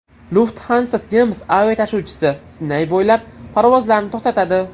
Lufthansa nemis aviatashuvchisi Sinay bo‘ylab parvozlarni to‘xtatadi.